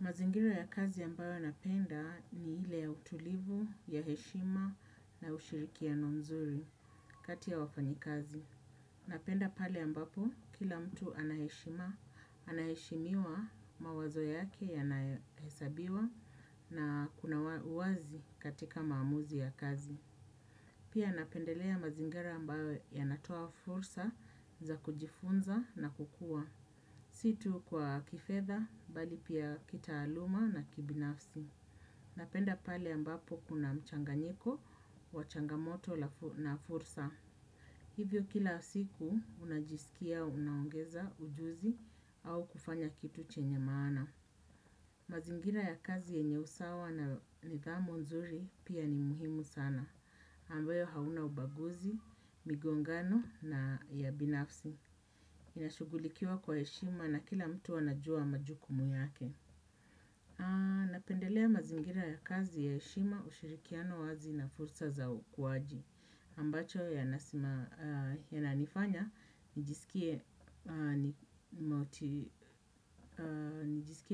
Mazingira ya kazi ambayo napenda ni ile ya utulivu, ya heshima na ushirikiano mzuri kati ya wafanyikazi. Napenda pale ambapo, kila mtu ana heshima, anaheshimiwa mawazo yake yanahesabiwa na kuna uwazi katika maamuzi ya kazi. Pia napendelea mazingira ambayo yanatoa fursa za kujifunza na kukua. Si tu kwa kifedha, bali pia kitaaluma na kibinafsi. Napenda pale ambapo kuna mchanganyiko, wa changamoto na fursa. Hivyo kila siku, unajisikia, unaongeza, ujuzi, au kufanya kitu chenye maana. Mazingina ya kazi yenye usawa na nidhamu nzuri pia ni muhimu sana. Ambayo hauna ubaguzi, migongano na ya binafsi. Inashughulikiwa kwa heshima na kila mtu anajua majukumu yake. Napendelea mazingira ya kazi ya heshima ushirikiano wazi na fursa za ukuwaji ambacho yananifanya nijisikie